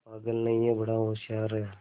पागल नहीं हैं बड़ा होशियार है